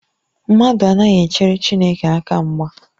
Mmadụ anaghị echere Chineke aka mgba